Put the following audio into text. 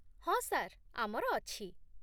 ହଁ ସାର୍, ଆମର ଅଛି।